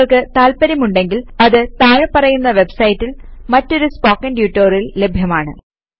നിങ്ങൾക്ക് താത്പര്യമുണ്ടെങ്കിൽ അത് താഴെ പറയുന്ന വെബ്സൈറ്റിൽ മറ്റൊരു സ്പോക്കൺ ട്യൂട്ടോറിയൽ ലഭ്യമാണ്